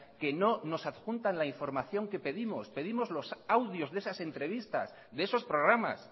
que no nos adjunta la información que pedimos pedimos los audios de esas entrevistas de esos programas